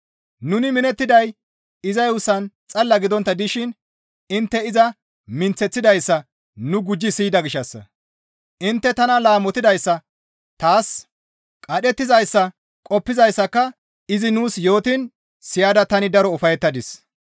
Nuni minettiday iza yuussan xalla gidontta dishin intte iza minththeththidayssa nu gujji siyida gishshassa; intte tana laamotidayssa taas qadhettizayssa qoppizayssaka izi nuus yootiin siyada tani daro ufayettadis.